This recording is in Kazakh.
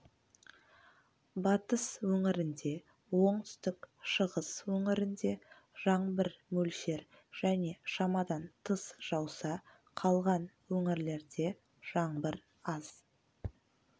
батыс өңірінде оңтүстік шығыс өңірінде жаңбыр мөлшер және шамадан тыс жауса қалған өңірлерде жаңбыр аз